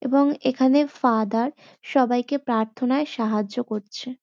এবং এখানে ফাদার সবাইকে প্রার্থনায় সাহায্য করছে।